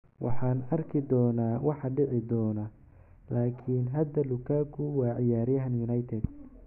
"Waxaan arki doonaa waxa dhici doona - laakiin hadda Lukaku waa ciyaaryahan United."